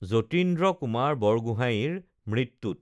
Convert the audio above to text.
যতীন্দ্ৰ কুমাৰ বৰগোহাঞিৰ মৃত্যুত